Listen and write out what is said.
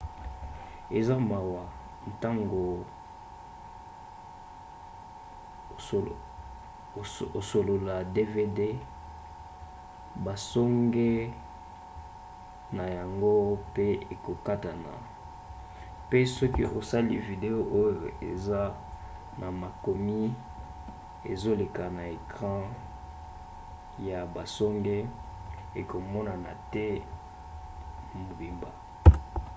eza mawa ntango osolola dvd basonge na yango pe ekokatana pe soki osali video oyo eza na makomi ezoleka na ecran pene ya basonge ekomonana te mobimba